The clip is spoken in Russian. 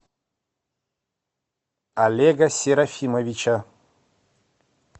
олега серафимовича